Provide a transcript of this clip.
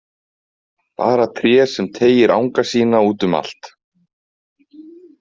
Bara tré sem teygir anga sína út um allt.